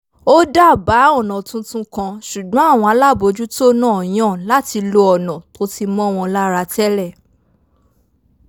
ó dábàá ọ̀nà tuntun kan ṣùgbọ́n àwọn alábòójútó náà yàn láti lo ọ̀nà tó ti mọ́ wọn lára tẹ́lẹ̀